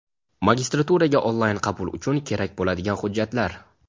Magistraturaga onlayn qabul uchun kerak bo‘ladigan hujjatlar:.